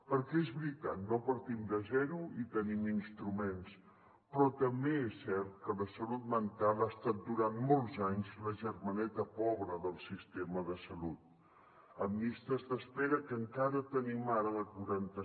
perquè és veritat no partim de zero i tenim instruments però també és cert que la salut mental ha estat durant molts anys la germaneta pobra del sistema de salut amb llistes d’espera que encara tenim ara de quaranta